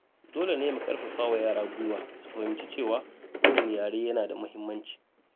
Dole ne mu karfafa wa yara gwiwa su fahimci cewa kowane yare yana da muhimmanci.